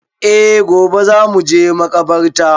E gobe za mu je makabartar